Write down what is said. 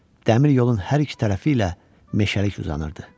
Dəmir yolun hər iki tərəfi ilə meşəlik uzanırdı.